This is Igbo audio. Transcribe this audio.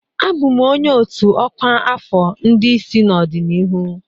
Abụ m onye ọ́tù ọkwa afọ ndị isi n'ọdịnihu.